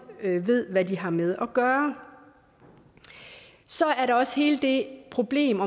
ved hvad de har med at gøre så er der også hele det problem